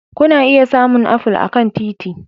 Kuna iya samun apple a kan titi